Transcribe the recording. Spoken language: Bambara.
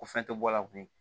Ko fɛn tɛ bɔ a la bilen